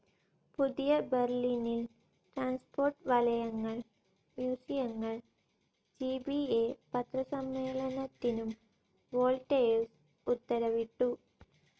പുതിയ ബെർലിനിൽ ട്രാൻസ്പോർട്ട്‌ വലയങ്ങൾ, മ്യൂസിയങ്ങൾ, ജി ബി അ പത്രസമ്മേളനത്തിനും വോൾട്ടേഴ്സ് ഉത്തരവിട്ടു.